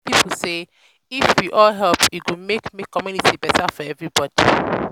people say if you all help it go make the community better for everybody